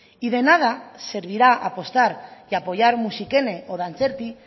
y de nada servirá apostar y apoyar musikene o dantzerti